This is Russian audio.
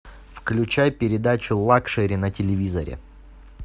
включай передачу лакшери на телевизоре